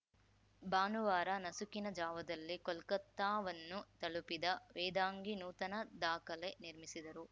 ಭಾನುವಾರ ನಸುಕಿನ ಜಾವದಲ್ಲಿ ಕೋಲ್ಕತಾವನ್ನು ತಲುಪಿದ ವೇದಾಂಗಿ ನೂತನ ದಾಖಲೆ ನಿರ್ಮಿಸಿದರು